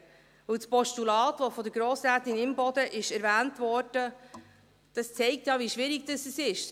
Denn das Postulat, das von Grossrätin Imboden erwähnt wurde zeigt ja, wie schwierig es ist.